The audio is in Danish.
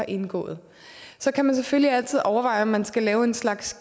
indgået så kan man selvfølgelig altid overveje om man skal lave en slags